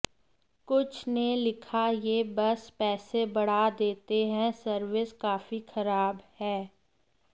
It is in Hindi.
कुछ ने लिखा ये बस पैसे बढ़ा देते हैं सर्विस काफी ख़राब है